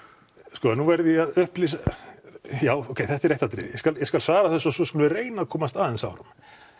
sko nú verð ég að upplýsa já ókei þetta er eitt atriði ég skal ég skal svara þessu og svo skulum við reyna að komast aðeins áfram